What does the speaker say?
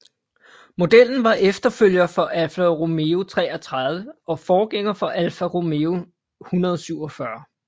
Modellen var efterfølger for Alfa Romeo 33 og forgænger for Alfa Romeo 147